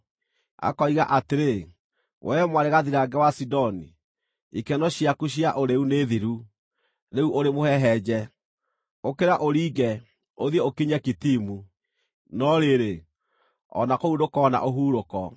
Akoiga atĩrĩ, “Wee mwarĩ gathirange wa Sidoni ikeno ciaku cia ũrĩĩu nĩ thiru, rĩu ũrĩ mũhehenje! “Ũkĩra ũringe, ũthiĩ ũkinye Kitimu; no rĩrĩ, o na kũu ndũkoona ũhurũko.”